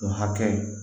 O hakɛ